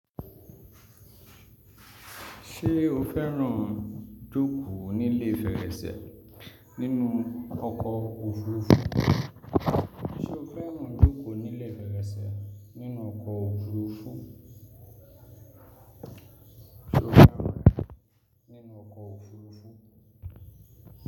Ṣé o fẹ́ràn jókòó nílé fèrèsé nínú ọkọ̀ òfurufú?